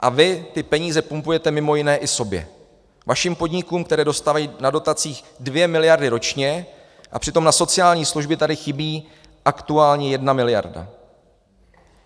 A vy ty peníze pumpujete mimo jiné i sobě, vašim podnikům, které dostávající do dotacích dvě miliardy ročně, a přitom na sociální služby tady chybí aktuálně jedna miliarda.